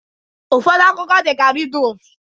Ụfọdụ akụkọ dị ka rịdus